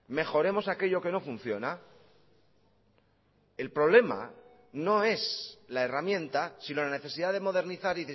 mejoremos aquello que no funciona el problema no es la herramienta sino la necesidad de modernizar